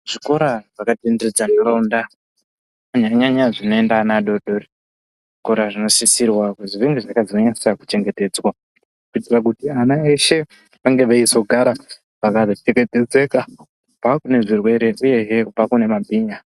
Zvikora zvakatenderedza ndaraunda kunyanya nyanya zvinoenda ana adodori, zvikora zvinosisirwa kuzwi zvinge zvakazonyanyisa kuchengetedzwa kuitira kuti ana eshe vange veizogara vakachengetedzeka kubva kune zvirwere uye hee kubva kumabhinya.